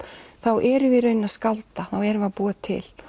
þá erum við í rauninni að skálda þá erum við að búa til